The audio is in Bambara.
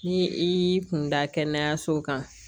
Ni i y'i kun da kɛnɛyaso kan